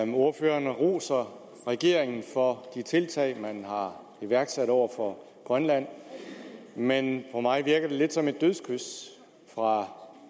ordføreren roser regeringen for de tiltag man har iværksat over for grønland men på mig virker det lidt som et dødskys fra